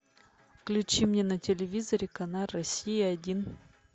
включи мне на телевизоре канал россия один